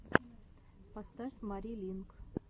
поставь мари линк